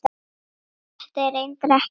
Þetta er reyndar ekkert nýtt.